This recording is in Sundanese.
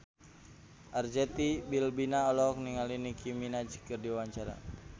Arzetti Bilbina olohok ningali Nicky Minaj keur diwawancara